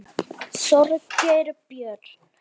Þorgeir Björn.